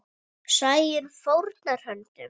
Sæunn fórnar höndum.